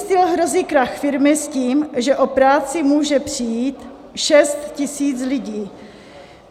Steel hrozí krach firmy s tím, že o práci může přijít 6 000 lidí.